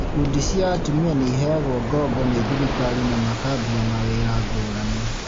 Ikundi cia atumia nĩiheagwo ngoombo nĩ thirikari na makambia mawĩra ngũrani